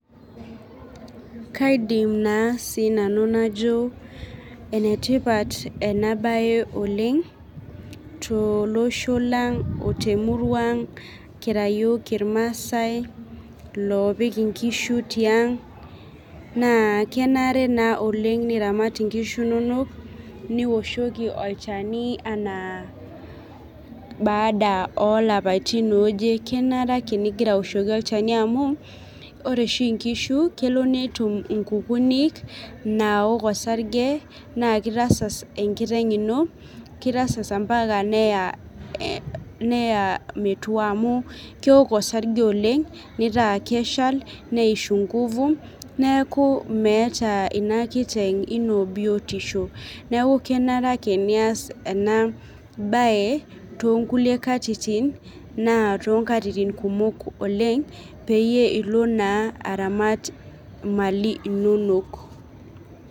kaidim naa sinanu najo enetipat ena baye oleng tolosho lang otemurua ang kira yiok irmasae lopik inkishu tiang naa kenare naa oleng niramat inkishu inonok nioshoki olchani anaa baada olapaitin ooje kenare ake nigira awoshoki olchani amu ore oshi inkishu kelo netum inkukunik nawok osarge naa kitasas enkiteng ino kitasas ampaka neya eh neya metua amu kewok osarge oleng nitaa keshal neishu nguvu neeku meeta ina kiteng ino biotisho neku kenare ake nias ena baye tonkulie katitin naa tonkatitin kumok oleng peyie ilo naa aramat imali inonok.